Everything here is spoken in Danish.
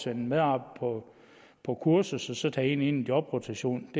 en medarbejder på kursus og tager en ind i jobrotation